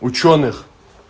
учёных